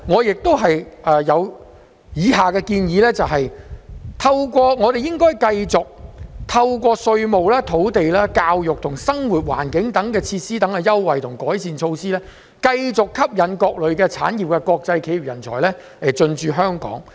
此外，建議我們應該繼續透過稅務、土地、教育及生活環境等設施的優惠及改善措施，繼續吸引各類產業的國際企業人才進駐香港。